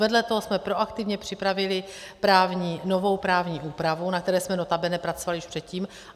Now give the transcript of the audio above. Vedle toho jsme proaktivně připravili novou právní úpravu, na které jsme notabene pracovali už předtím.